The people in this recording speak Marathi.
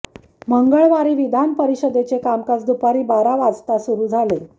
मंगळवारी विधान परिषदेचे कामकाज दुपारी बारा वाजता सुरू झाले